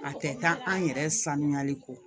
A tɛ taa an yɛrɛ sanuyali kɔ